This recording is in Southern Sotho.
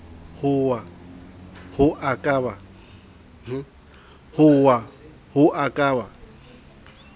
hoa ho a ka ba